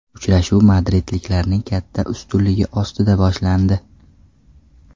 Uchrashuv madridliklarning katta ustunligi ostida boshlandi.